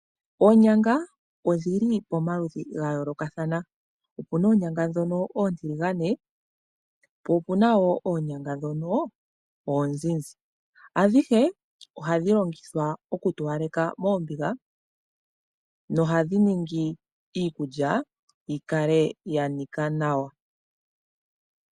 Oonyanga odhili pamaludhi ga yoolokathana opuna dhimwe ontiligane po opuna wo onzinzi ohadhi longithwa okutowaleka omahoka noshowo oku nikitha nawa onyama.